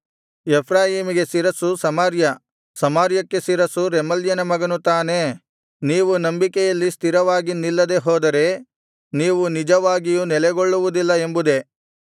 ಎಫ್ರಾಯೀಮಿಗೆ ಶಿರಸ್ಸು ಸಮಾರ್ಯ ಸಮಾರ್ಯಕ್ಕೆ ಶಿರಸ್ಸು ರೆಮಲ್ಯನ ಮಗನು ತಾನೇ ನೀವು ನಂಬಿಕೆಯಲ್ಲಿ ಸ್ಥಿರವಾಗಿ ನಿಲ್ಲದೆ ಹೋದರೆ ನೀವು ನಿಜವಾಗಿಯೂ ನೆಲೆಗೊಳ್ಳುವುದಿಲ್ಲ ಎಂಬುದೇ